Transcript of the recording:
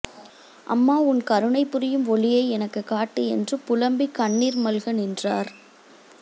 அம்மா உன் கருணை புரியும் ஒளியை எனக்கு காட்டு என்று புல்ம்பி கண்ணீர் மல்க நின்றார்